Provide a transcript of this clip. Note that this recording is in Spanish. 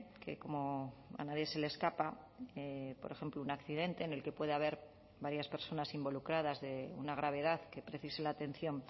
que como a nadie se le escapa por ejemplo un accidente en el que puede haber varias personas involucradas de una gravedad que precise la atención